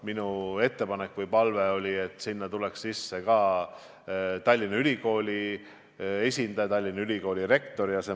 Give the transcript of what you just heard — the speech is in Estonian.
Minu ettepanek või palve oli, et sinna tuleks ka Tallinna Ülikooli esindaja, Tallinna Ülikooli rektor.